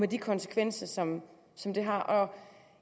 de konsekvenser som som det har